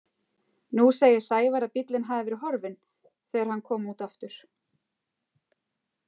Nú segir Sævar að bíllinn hafi verið horfinn þegar hann kom út aftur.